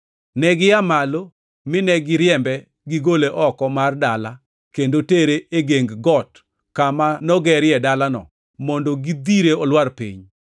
Negia malo mine giriembe gigole oko mar dala kendo tere e geng got kama nogerie dalano mondo gidhire olwar piny.